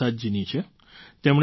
ગુરુપ્રસાદજીની છે